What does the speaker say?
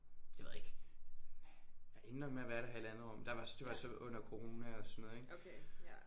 Det ved jeg ikke. Jeg endte nok med at være der i halvandet år men der var det var så under corona og sådan noget ik